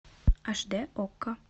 аш дэ окко